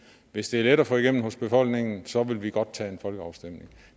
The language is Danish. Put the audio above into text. hvis det er let at få igennem hos befolkningen så vil vi godt tage en folkeafstemning